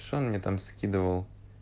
что он мне там скидывал